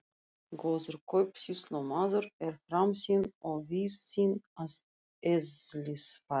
Góður kaupsýslumaður er framsýnn og víðsýnn að eðlisfari.